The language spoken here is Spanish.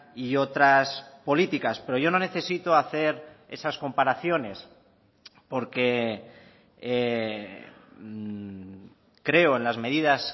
y otras políticas pero yo no necesito hacer esas comparaciones porque creo en las medidas